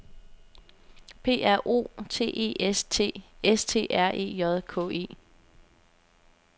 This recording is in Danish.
P R O T E S T S T R E J K E